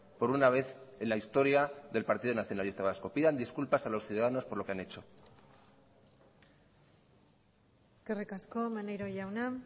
por una vez en la historia del partido nacionalista vasco pidan disculpas a los ciudadanos por lo que han hecho eskerrik asko maneiro jauna